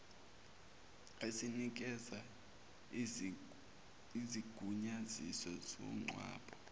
esinikeza isigunyaziso somngcwabo